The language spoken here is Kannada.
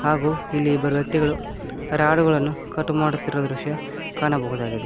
ಹಾಗು ಇಲ್ಲಿ ಇಬ್ಬರು ವ್ಯಕ್ತಿಗಳು ರಾಡು ಗಳನ್ನು ಕಟ್ ಮಾಡುತ್ತಿರುವ ದೃಶ್ಯ ಕಾಣಬಹುದಾಗಿದೆ.